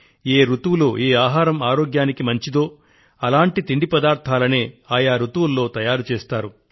ఏ రుతువులో ఏ ఆహారం ఆరోగ్యానికి మంచిదో అటువంటి తిండి పదార్థాలనే ఆయా రుతువులలో తయారు చేస్తారు